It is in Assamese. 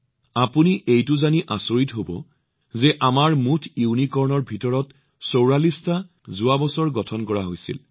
আপোনালোকে এইটো জানি আচৰিত হব যে আমাৰ মুঠ ইউনিকৰ্নৰ ভিতৰত চৌৰাল্লিছটা যোৱা বছৰ গঠন কৰা হৈছিল